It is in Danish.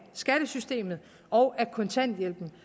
skattesystemet og af kontanthjælpen